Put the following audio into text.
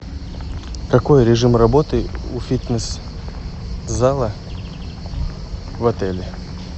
какой режим работы у фитнес зала в отеле